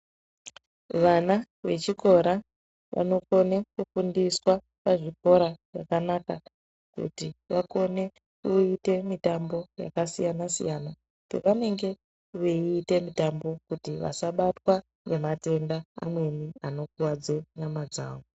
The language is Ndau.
Vana vechikora vanokone kufundiswa pazvikora zvakanaka kuti vakone kuite mitambo yakasiyanasiyana pevanenge veite mitambo kuti vasabatwa ngematenda amweni anokuwadze nyama dzawo.